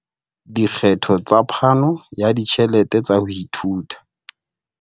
Dikgetho tsa phano ya ditjhelete tsa ho ithuta.